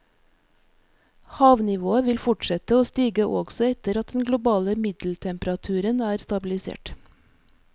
Havnivået vil fortsette å stige også etter at den globale middeltemperaturen er stabilisert.